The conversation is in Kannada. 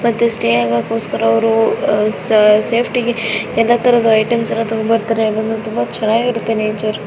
ಮತ್ತೆ ಸ್ಟೇ ಆಗಕ್ಕೂಸ್ಕರ ಎಲ್ಲಾ ತರದ ಐಟಮ್ಸ್ ಎಲ್ಲಾ ತಂಗೊಂಡ ಬರ್ತಾರೆ ತುಂಬಾ ಚೆನ್ನಾಗಿರುತ್ತೆ ನೇಚರ್ --